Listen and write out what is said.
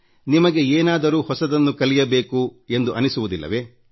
ನಿಮಗೆ ಏನಾದ್ರೂ ಹೊಸದನ್ನು ಕಲಿಯಬೇಕೆಂದಿನ್ನಿಸುವುದಿಲ್ಲವೇ